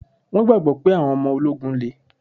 Wọn gbagbọ pé àwọn ọmọ ológun le